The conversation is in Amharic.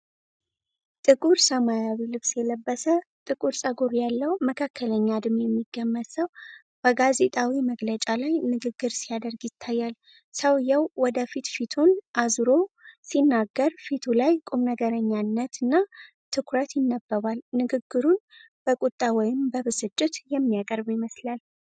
ጥቁር ሰማያዊ ልብስ የለበሰ፣ ጥቁር ፀጉር ያለው መካከለኛ እድሜ የሚገመት ሰው፣ በጋዜጣዊ መግለጫ ላይ ንግግር ሲያደርግ ይታያል። ሰውዬው ወደፊት ፊቱን አዙሮ ሲናገር፣ ፊቱ ላይ ቁምነገርነትና ትኩረት ይነበባል፤ ንግግሩን በቁጣ ወይም በብስጭት የሚያቀርብ ይመስላል።